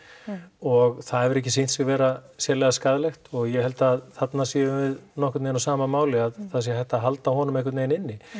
og það hefur ekki sýnt sig vera sérlega skaðlegt og ég held að þarna séum við nokkurn veginn á sama máli að það sé hægt að halda honum einhvern veginn inni